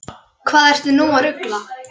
Hvað ertu nú að rugla!